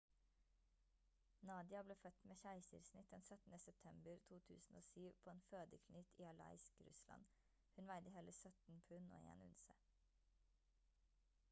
nadia ble født med keisersnitt den 17. september 2007 på en fødeklinikk i aleisk russland hun veide hele 17 pund og 1 unse